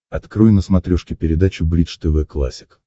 открой на смотрешке передачу бридж тв классик